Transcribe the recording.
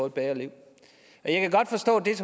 et bedre liv